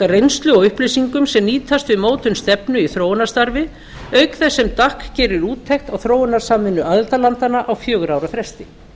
reynslu og upplýsingum sem nýtast við mótun stefnu í þróunarstarfi auk þess sem dac gerir úttekt á þróunarsamvinnu aðildarlandanna á fjögurra ára fresti